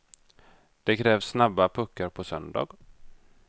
Det krävs snabba puckar på söndag.